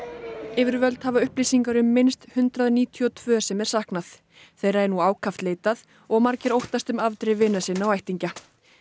yfirvöld hafa upplýsingar um minnst hundrað níutíu og tvö sem er saknað þeirra er nú ákaft leitað og margir óttast um afdrif vina sinna og ættingja